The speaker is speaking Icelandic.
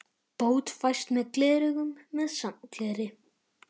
Bót fæst með gleraugum með safngleri.